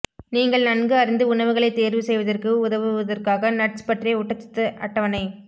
நீங்கள் நன்கு அறிந்து உணவுகளை தேர்வு செய்வதற்கு உதவுவதற்காக நட்ஸ் பற்றிய ஊட்டச்சத்து அட்டவணை